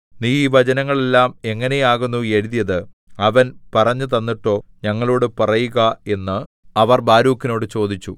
നീ ഈ വചനങ്ങളെല്ലാം എങ്ങനെയാകുന്നു എഴുതിയത് അവൻ പറഞ്ഞുതന്നിട്ടോ ഞങ്ങളോടു പറയുക എന്ന് അവർ ബാരൂക്കിനോടു ചോദിച്ചു